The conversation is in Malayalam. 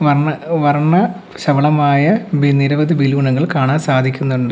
വർണ്ണ ശബളമായ നിരവധി ബലൂണുകൾ കാണാൻ സാധിക്കുന്നുണ്ട്.